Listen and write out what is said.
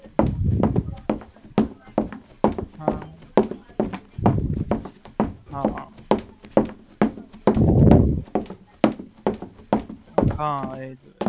હાં.